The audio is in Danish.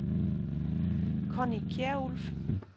Conny Kjærulff